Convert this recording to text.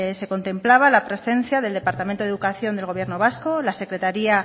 se contemplaba la presencia del departamento de educación del gobierno vasco la secretaría